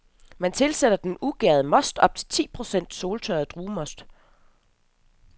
Man tilsætter den ugærede most op til ti procent soltørret druemost.